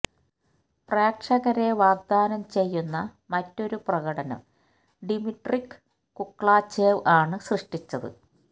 പ്രേക്ഷകരെ വാഗ്ദാനം ചെയ്യുന്ന മറ്റൊരു പ്രകടനം ഡിമിട്രിക് കുക്ലാച്ചേവ് ആണ് സൃഷ്ടിച്ചത്